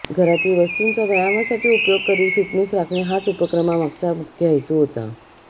घरातील वस्तुंचा व्यायामासाठी उपयोग करीत फिटनेस राखणे हाच उपक्रमामागचा मुख्य हेतू होता